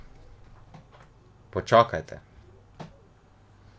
Počakajte!